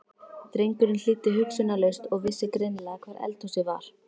Drengurinn hlýddi hugsunarlaust og vissi greinilega hvar eldhúsið var.